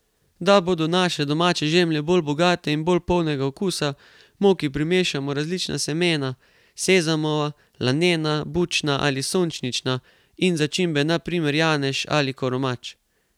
Da bodo naše domače žemlje bolj bogate in bolj polnega okusa, moki primešamo različna semena, sezamova, lanena, bučna ali sončnična, in začimbe, na primer janež ali koromač.